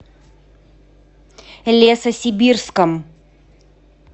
лесосибирском